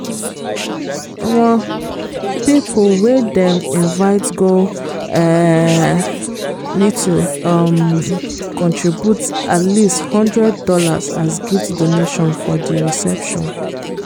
um people wey dem invite go um need to um contribute at least hundred dollars as gift donation for di reception.